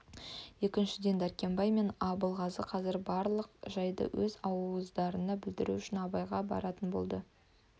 екіншіден дәркембай мен абылғазы қазір барлық жайды өз ауыздарынан білдіру үшін абайға баратын болды